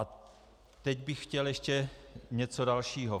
A teď bych chtěl ještě něco dalšího.